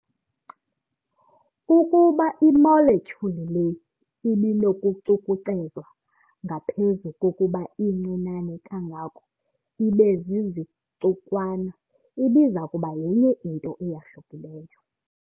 Ukuba i-molecule le ibinokucukucezwa ngaphezu kokuba incinane kangako ibezizicukwana, ibizakuba yenye into eyahlukileyo.